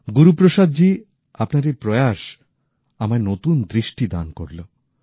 গুরুপ্রসাদজী আপনার এই প্র্য়াস আমায় নতুন দৃষ্টিদান করল